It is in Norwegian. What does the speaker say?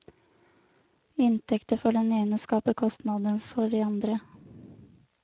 Inntekter for den ene skaper kostnader for de andre.